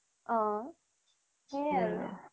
অ' সেইয়াই আৰু